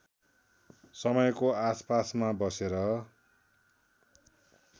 समयको आसपासमा बसेर